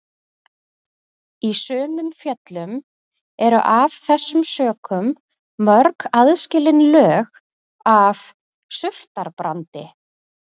Í sumum fjöllum eru af þessum sökum mörg aðskilin lög af surtarbrandi.